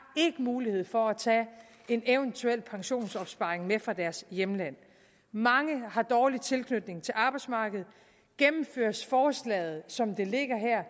ikke mulighed for at tage en eventuel pensionsopsparing med fra deres hjemland mange har dårlig tilknytning til arbejdsmarkedet gennemføres forslaget som det ligger her